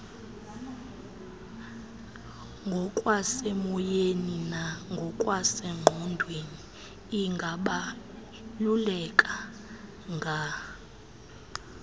ngokwasemoyeni nangokwasengqondweni ingabalulekanga